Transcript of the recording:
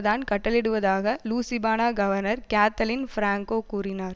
தான் கட்டளையிடுவதாக Louisiana governor Kathleen Blanco கூறினார்